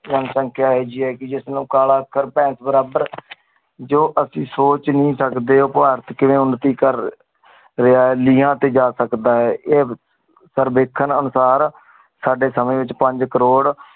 ਜਨਸੰਖਿਆ ਏਹੀ ਜੀ ਹੈਂ ਗੀ ਜੇਸ ਨੂ ਕਾਲਾ ਅੱਖਰ ਭੈਂਸ ਬਰਾਬਰ। ਜੋ ਅਸੀਂ ਸੋਚ ਨੀ ਸਕਦੀ ਵੋ ਭਾਰਤ ਕਿਵੇਂ ਉਨਤੀ ਕਰ ਰਿਹਾ ਆ ਲਿਆਂ ਤੇ ਜਾ ਸਕਦਾ ਆ ਏ ਪਰ ਦੇਖਣ ਅਨੁਸਾਰ ਸਾਡੇ ਸਮੇ ਵਿਚ ਪੰਜ ਕਰੋੜ